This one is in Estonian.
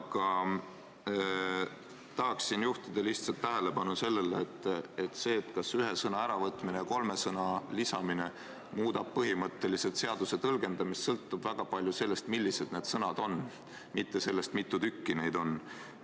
Aga tahan juhtida lihtsalt tähelepanu sellele, et see, kas ühe sõna äravõtmine ja kolme sõna lisamine muudab põhimõtteliselt seaduse tõlgendamist, sõltub väga palju sellest, millised need sõnad on, mitte sellest, kui mitu tükki neid on.